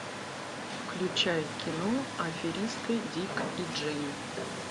включай кино аферисты дик и джейн